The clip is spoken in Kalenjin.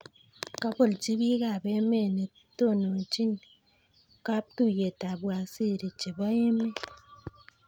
Kobolochi biikab emet netononchin kaptuiyetab waziri chebo emet